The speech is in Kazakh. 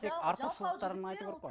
тек артықшылықтарын айту керек қой